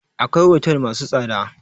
Akwai otel masu tsada